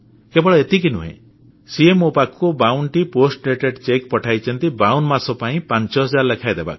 କେବଳ ଏତିକି ନୁହେଁ ସିଏ ମୋ ପାଖକୁ 52ଟି ଆଗୁଆ ଚେକ ପୋଷ୍ଟ ଡେଟେଡ୍ ଚେକ୍ ପଠାଇଛନ୍ତି 52 ମାସ ପାଇଁ 5 ହଜାର ଲେଖାଏଁ ଦେବାକୁ